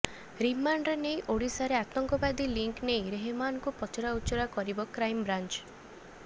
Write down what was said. ରିମାଣ୍ଡରେ ନେଇ ଓଡିଶାରେ ଆତଙ୍କବାଦୀ ଲିଙ୍କ ନେଇ ରେହମାନକୁ ପଚରାଉଚରା କରିବ କ୍ରାଇମବ୍ରାଂଚ